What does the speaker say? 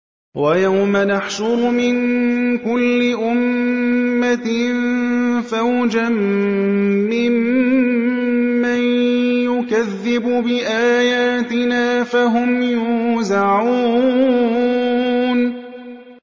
وَيَوْمَ نَحْشُرُ مِن كُلِّ أُمَّةٍ فَوْجًا مِّمَّن يُكَذِّبُ بِآيَاتِنَا فَهُمْ يُوزَعُونَ